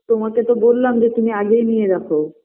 তোমাকে তো বোললাম যে তুমি আগেই নিয়ে রাখো